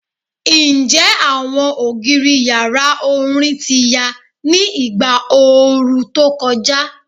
Njẹ awọn ogiri yara orin ti ya ni igba ooru to kọja?